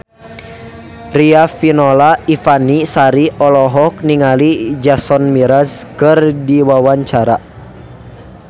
Riafinola Ifani Sari olohok ningali Jason Mraz keur diwawancara